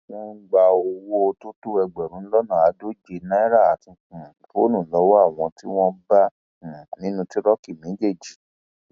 wọn gba owó tó tó ẹgbẹrún lọnà àádóje náírà àti um fóònù lọwọ àwọn tí wọn bá um nínú tìróòkì méjèèjì